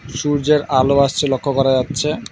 সূর্যের আলো আসছে লক্ষ্য করা যাচ্ছে।